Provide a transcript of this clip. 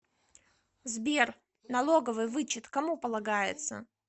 сбер налоговый вычет кому полагается